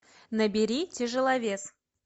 набери тяжеловес